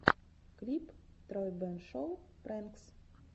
клип тройбэн шоу прэнкс